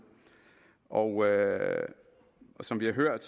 og som vi har hørt